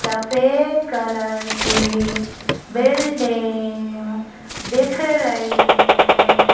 सफेद कलर की बिल्डिंग दिख रही है।